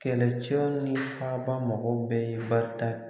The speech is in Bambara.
Kɛlɛcɛ ni faaba mɔgɔw bɛɛ ye barita